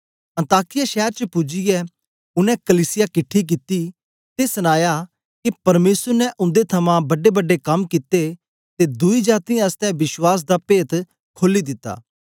अन्ताकिया शैर च पूजियै उनै कलीसिया किटठी कित्ती ते सनाया के परमेसर ने उंदे थमां बड्डेबड्डे कम कित्ते ते दुई जातीयें आसतै विश्वास दा पेत्त खोली दिता